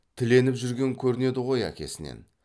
тіленіп жүрген көрінеді ғой әкесінен